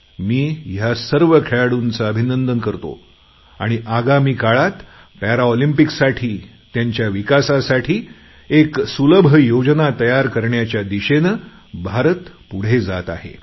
मी ह्या सर्व खेळाडूंचे अभिनंदन करतो आणि आगामी काळात पॅरालिम्पिक्ससाठी त्याच्या विकासासाठी एक सुलभ योजना तयार करण्याच्या दिशेने भारत पुढे जात आहे